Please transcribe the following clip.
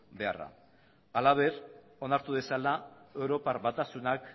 beharra halaber onartu dezala europar batasunak